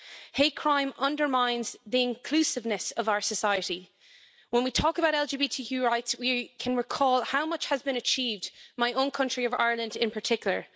Hate crime undermines the inclusiveness of our society. When we talk about LGBTQI rights, we can recall how much has been achieved, in my own country of Ireland in particular.